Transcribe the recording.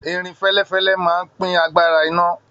Irin fẹlẹfẹlẹ máa n pin àgbàrá iná.